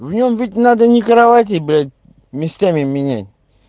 в нем ведь надо не кровати блять местами менять